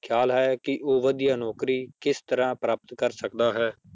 ਖਿਆਲ ਹੈ ਕਿ ਉਹ ਵਧੀਆ ਨੌਕਰੀ ਕਿਸ ਤਰ੍ਹਾਂ ਪ੍ਰਾਪਤ ਕਰ ਸਕਦਾ ਹੈ?